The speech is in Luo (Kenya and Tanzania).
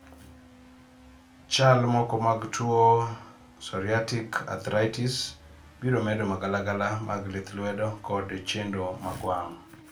chsl moko mag tuo psoriatic arthritis brmedo magalagala mag lithlwedo kod chendo mar wang